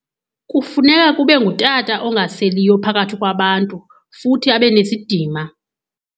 Kufuneka kube ngutata ongaseliyo phakathi kwabantu, futhi abe nesidima.